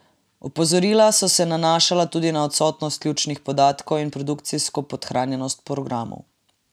Opozorila so se nanašala tudi na odsotnost ključnih podatkov in produkcijsko podhranjenost programov.